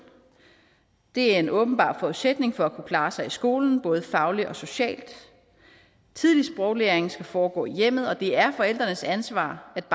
det er en åbenbar forudsætning for at kunne klare sig i skolen både fagligt og socialt tidlig sproglæring skal foregå i hjemmet og det er forældrenes ansvar at